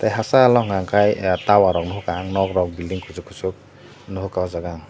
tai hasal o unkha ke tai tower rok rohoka nok rok building kusuk kusuk nohoka aw jaaga.